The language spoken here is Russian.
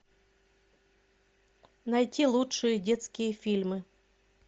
найти лучшие детские фильмы